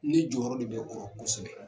Ni jɔyɔrɔ de be orɔ kosɛbɛ